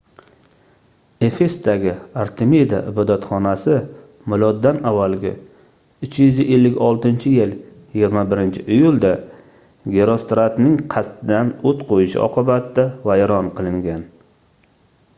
efesdagi artemida ibodatxonasi m.a. 356-yil 21-iyulda gerostratning qasddan oʻt qoʻyishi oqibatida vayron qilingan